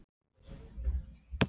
Júlía: Þetta var- Anton kom með mér.